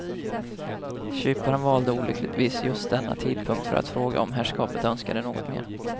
Kyparen valde olyckligtvis just denna tidpunkt för att fråga om herrskapet önskade något mer.